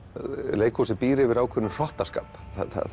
leikhúsið býr yfir ákveðnum hrottaskap